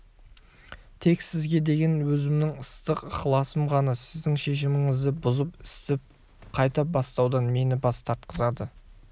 тек сізге деген өзімнің ыстық ықыласым ғана сіздің шешіміңізді бұзып істі қайта бастаудан мені бас тартқызады